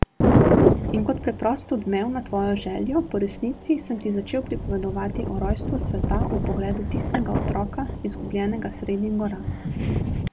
In kot preprost odmev na tvojo željo po resnici sem ti začel pripovedovati o rojstvu sveta v pogledu tistega otroka, izgubljenega sredi gora.